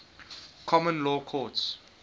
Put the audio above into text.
common law courts